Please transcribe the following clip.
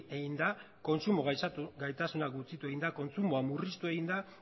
egin da kontsumo gaitasuna murriztu egin da kontsumoa murriztu egin da